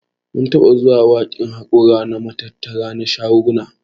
Mun taɓa zuwa wankin haƙora a matattara na shaguna.